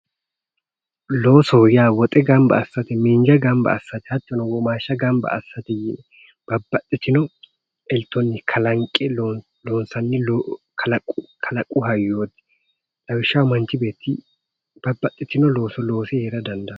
Loosoho yaa woxe gamba assate miinja gamba assate hattono womaashsha gamba assate yine babbaxxitino eltoonni kalanqe loonsanni kalaqu hayyoti lawishshaho manchi beetti babbaxitino looso loose heera dandaanno